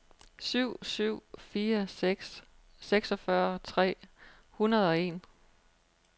syv syv fire seks seksogfyrre tre hundrede og en